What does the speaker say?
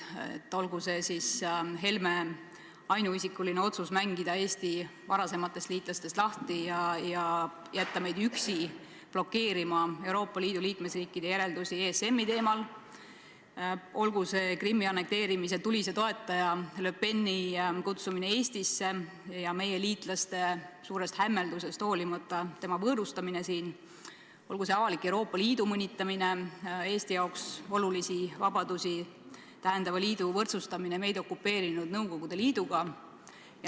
Olgu see Helme ainuisikuline otsus mängida Eesti lahti varasematest liitlastest ja jätta meid üksi blokeerima Euroopa Liidu liikmesriikide järeldusi ESM-i teemal, olgu see Krimmi annekteerimise tulise toetaja Le Peni kutsumine Eestisse ja meie liitlaste suurest hämmeldusest hoolimata tema võõrustamine või olgu see avalik Euroopa Liidu mõnitamine, Eesti jaoks olulisi vabadusi tähendava liidu võrdsustamine meid okupeerinud Nõukogude Liiduga.